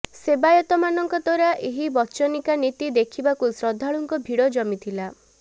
ସେବାୟତମାନଙ୍କ ଦ୍ବାରା ଏହି ବଚନିକା ନୀତି ଦେଖିବାକୁ ଶ୍ରଦ୍ଧାଳୁଙ୍କ ଭିଡ଼ ଜମିଥିଲା